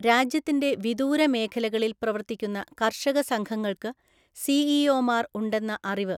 രാജ്യത്തിന്‍റെ വിദൂര മേഖലകളില്‍ പ്രവര്‍ത്തിക്കുന്ന കര്‍ഷക സംഘങ്ങള്‍ക്ക് സിഇഒമാര്‍ ഉണ്ടെന്ന അറിവ്